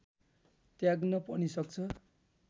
त्याग्न पनि सक्छ